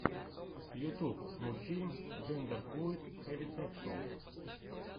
ютюб мультфильм джендерфлуид хелисекшуал